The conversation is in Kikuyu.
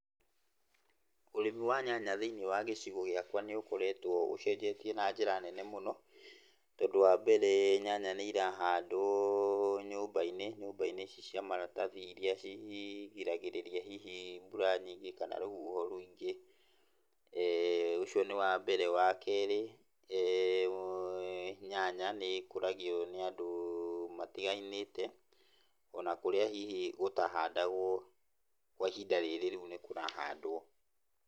Ũrĩmĩ wa nyanya thĩiniĩ wa gĩcigo gĩakwa nĩ ũkoretwo ũcenjetie na njĩra nene mũno, tondũ wambere nyanya nĩ irahandwo nyũmba-inĩ, nyũmba-inĩ ici cia maratathi iria cigiragĩrĩria hihi mbura nyingĩ kana rũhuho rũingĩ, ũcio nĩ wambere. Wakerĩ, nyanya nĩ ikũragio nĩ andũ matiganĩte, onakũrĩa hihi gũtahandagwo kwa ihinda rĩrĩ rĩu nĩkũrahandwo.